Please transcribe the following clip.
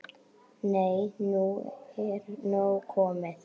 Nei, nú er nóg komið!